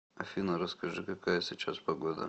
афина расскажи какая сейчас погода